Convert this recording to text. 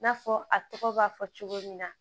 I n'a fɔ a tɔgɔ b'a fɔ cogo min na